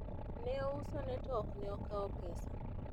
ne osuone to ok ne okawo pesa